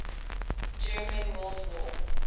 german world war